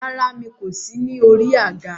Rárá, mi kò sí ní orí àga.